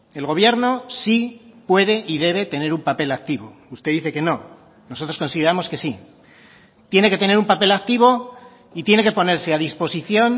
el gobierno sí puede y debe tener un papel activo usted dice que no nosotros consideramos que sí tiene que tener un papel activo y tiene que ponerse a disposición